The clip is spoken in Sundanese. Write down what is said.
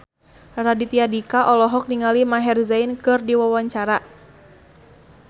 Raditya Dika olohok ningali Maher Zein keur diwawancara